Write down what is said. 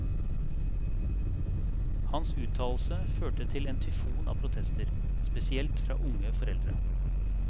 Hans uttalelse førte til en tyfon av protester, spesielt fra unge foreldre.